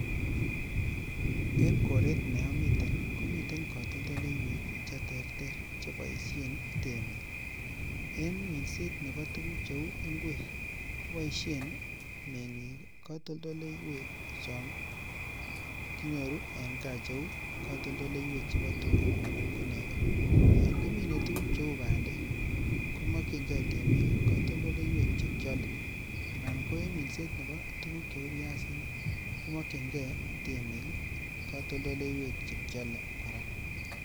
En koret ne omiten komiten kotoldoleywek che terter che boishen temik en minset ab tugug che uu ngwek koboishen mengikik kotoldoleywek chon kinyoru en gaa kotoldoleywek chebo tugaa ana ko negoo, yon kiminee tugug che uu bandek komokyikgee temik kotoldoleywek che kyolee anan ko en minset nebo tugug che uu byasinik komokyigee temik kotoldoleywek che kyolee koraa